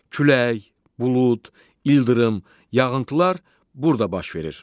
Külək, bulud, ildırım, yağıntılar burada baş verir.